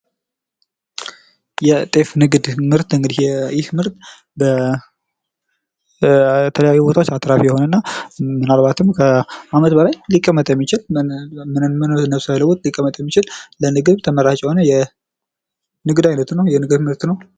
የጤፍ ንግድ ምርት እንግዲህ ይህ ምርት የተለያዩ ቦታዎች አትራፊ የሆነና ምናልባትም ከአመት በላይ ሊቀመጥ የሚችል ምንም ነገር ሳይለወጥ ሊቀመጥ የሚችል ለምግብ ተመራጭ የሆነ የንግድ አይነት ነው። የንግድ ምርት ነው ።